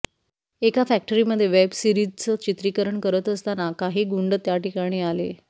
एका फॅक्टरीमध्ये वेब सीरिजचं चित्रीकरण करत असताना काही गुंड त्या ठिकाणी आले